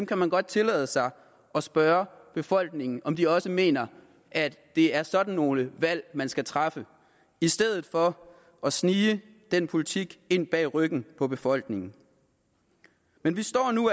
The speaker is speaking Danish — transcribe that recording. kan man godt tillade sig at spørge befolkningen om de også mener at det er sådan nogle valg man skal træffe i stedet for at snige den politik ind bag ryggen af befolkningen men vi står